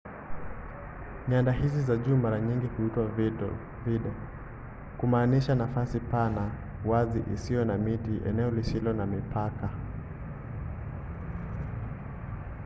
nyanda hizi za juu mara nyingi huitwa vidde kumaanisha nafasi pana wazi isiyo na miti eneo lisilo na mipaka